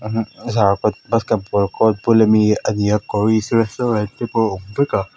zarkawt basketball bul ani ani a koris restaurant te pawh a awm vek a.